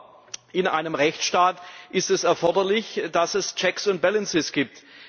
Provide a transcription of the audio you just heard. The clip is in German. Aber in einem Rechtsstaat ist es erforderlich, dass es checks and balances gibt.